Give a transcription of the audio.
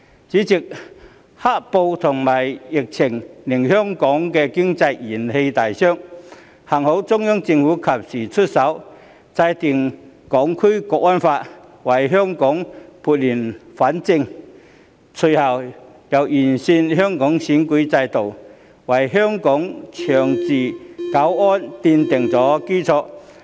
主席，"黑暴"和疫情令香港經濟元氣大傷，幸好中央政府及時出手，制定《香港國安法》，為香港撥亂反正，隨後又完善香港選舉制度，為香港的長治久安奠定基礎。